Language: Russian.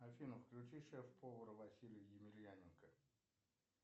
афина включи шеф повар василий емельяненко